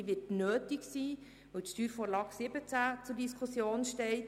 Diese wird nötig sein, weil die Steuervorlage 17 (SV 17) zur Diskussion steht.